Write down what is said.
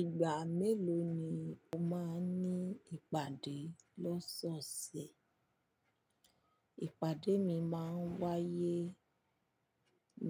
Ìgbà mélòó ni o máa ń ní ìpàdé lọ́sọ̀ọ̀sẹ̀? Ìpàdé mi máa ń wáyé